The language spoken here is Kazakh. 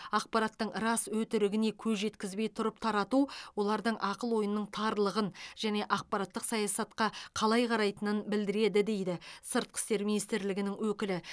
ақпараттың рас өтірігіне көз жеткізбей тұрып тарату олардың ақыл ойының тарлығын және ақпараттық саясатқа қалай қарайтынын білдіреді дейді сыртқы істер министрлігінің өкілі